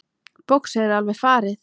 Boxið er alveg farið.